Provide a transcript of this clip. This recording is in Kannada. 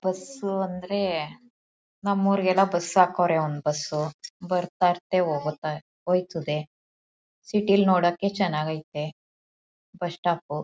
ಬಸ್ಸು ಅಂದ್ರೆ ನಮ್ ಊರಿಗೆಲ್ಲ ಬಸ್ ಹಾಕವ್ರೆ ಒಂದ್ ಬಸ್ಸು ಬರ್ತಾಇರುತ್ತೆ ಹೋಗ್ತಾ ಹೊಯ್ತದೆ ಸಿಟಿಲ್ ನೋಡೋಕೆ ಚೆನ್ನಾಗ್ ಐತೆ ಬಸ್ ಸ್ಟಾಪ್